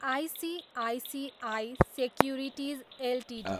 ICICI securities Ltd